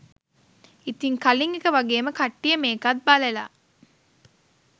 ඉතින් කලින් එක වගේම කට්ටිය මේකත් බලල